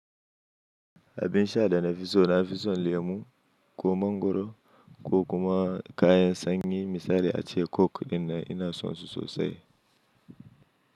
Abin sha da na fi so na fi son lemu ko mangoro ko kuma kayan sanyi misali ace coke din nan ina sonsu sosai.